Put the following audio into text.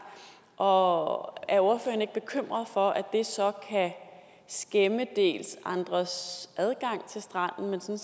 og er ordføreren ikke bekymret for at det så kan skæmme dels andres adgang til stranden